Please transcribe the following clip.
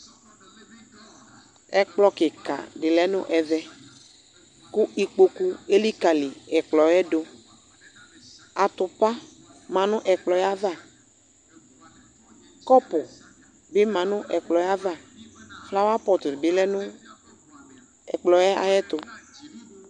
Ɛkplɔ kika di lɛ nʋ ɛvɛKʋ ikpoku elikali ɛkplɔ yɛ duAtupa manu ɛkpɔyɛ'avaKɔpu bi manʋ ɛkplɔ yɛ'avaFlawa pɔt dibi lɛ nʋ ɛkplɔ yɛ ayɛtu